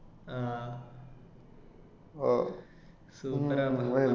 ആ super ആ